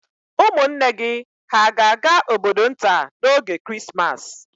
Ụmụnne gị hà ga-aga obodo nta n'oge Krismas?